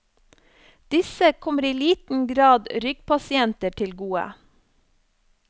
Disse kommer i liten grad ryggpasienter til gode.